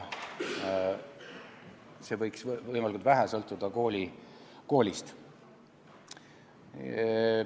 See võiks võimalikult vähe sõltuda koolist.